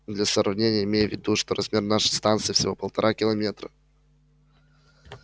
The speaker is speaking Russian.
для сравнения имей в виду что размер нашей станции всего полтора километра